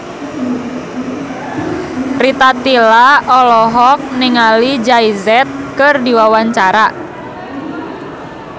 Rita Tila olohok ningali Jay Z keur diwawancara